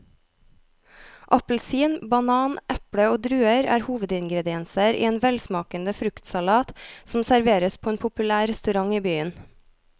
Appelsin, banan, eple og druer er hovedingredienser i en velsmakende fruktsalat som serveres på en populær restaurant i byen.